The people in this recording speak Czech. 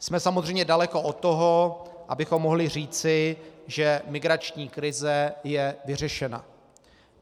Jsme samozřejmě daleko od toho, abychom mohli říci, že migrační krize je vyřešena.